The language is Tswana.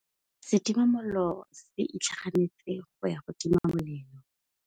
Setima molelô se itlhaganêtse go ya go tima molelô.